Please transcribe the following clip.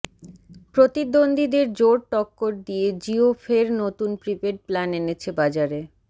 প্রতিদ্বন্দ্বীদের জোর টক্কর দিয়ে জিয়ো ফের নতুন প্রিপেড প্ল্যান এনেছে বাজারে